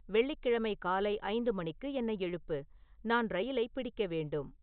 வெள்ளிக் கிழமை காலை ஐந்து மணிக்கு என்னை எழுப்பு நான் ரயிலைப் பிடிக்க வேண்டும்